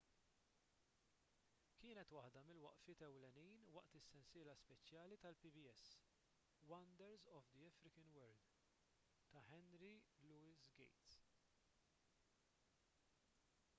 kienet waħda mill-waqfiet ewlenin waqt il-sensiela speċjali tal-pbs wonders of the african world ta' henry louis gates